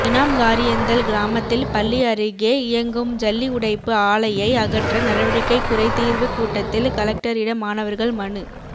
இனாம்காரியந்தல் கிராமத்தில் பள்ளி அருகே இயங்கும் ஜல்லி உடைப்பு ஆலையை அகற்ற நடவடிக்கை குறைதீர்வு கூட்டத்தில் கலெக்டரிடம் மாணவர்கள் மனு